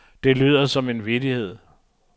Det lyder som en vittighed.